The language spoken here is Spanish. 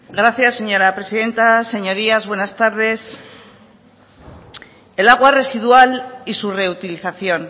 gracias señora presidenta señorías buenas tardes el agua residual y su reutilización